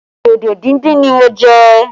Dodo díndín ni mo jẹ